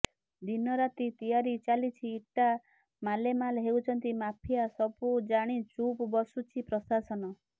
ଦିନ ରାତି ତିଆରି ଚାଲିଛି ଇଟା ମାଲେମାଲ୍ ହେଉଛନ୍ତି ମାଫିଆ ସବୁ ଜାଣି ଚୁପ୍ ବସୁଛି ପ୍ରଶାସନ